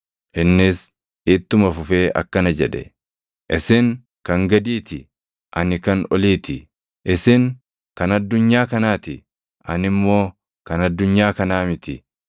Innis ittuma fufee akkana jedhe; “Isin kan gadii ti; ani kan olii ti. Isin kan addunyaa kanaa ti; ani immoo kan addunyaa kanaa miti.